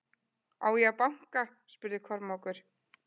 Á ég að banka spurði Kormákur.